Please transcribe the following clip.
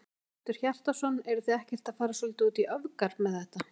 Hjörtur Hjartarson: Eruð þið ekkert að fara svolítið út í öfgar með þetta?